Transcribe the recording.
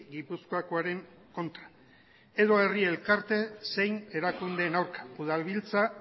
gipuzkoakoaren kontra edo herri elkarte zein erakundeen aurka udalbiltza